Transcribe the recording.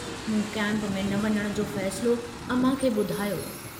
मूं कैम्प में न वञण जो फ़ैसिलो अमां खे बुधायो।